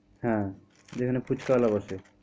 হ্যাঁ যেখানে ফুচকাওয়ালা বসে?